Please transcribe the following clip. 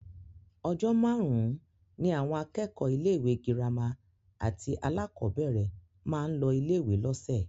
Ọjọ́ márùn-ún ni àwọn akẹ́kọ̀ọ́ ilé-ìwé gírámà àti alákọ̀ọ́bẹ̀rẹ̀ máa ń lọ ilé-ìwé lọ́sẹ̀